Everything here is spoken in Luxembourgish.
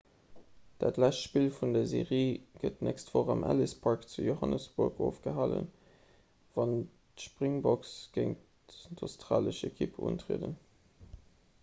dat lescht spill vun der serie gëtt d'nächst woch am ellis park zu johannesburg ofgehalen wann d'springboks géint d'australesch ekipp untrieden